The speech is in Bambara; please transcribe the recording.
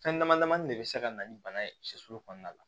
Fɛn dama damani de bɛ se ka na ni bana ye cɛsiri kɔnɔna la